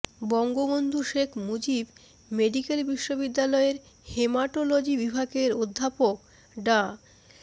Bangabandhu Sheikh Mujib medical বিশ্ববিদ্যালয়ের haematology বিভাগের অধ্যাপক ডা